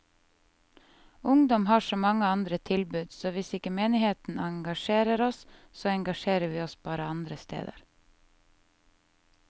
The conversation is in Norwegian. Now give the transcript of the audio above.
Ungdom har så mange andre tilbud, så hvis ikke menigheten engasjerer oss, så engasjerer vi oss bare andre steder.